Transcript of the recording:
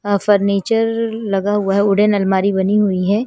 यहां फर्नीचर लगा हुआ है उड़ेन अलमारी बनी हुई है।